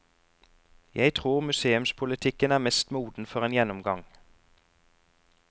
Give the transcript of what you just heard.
Jeg tror museumspolitikken er mest moden for en gjennomgang.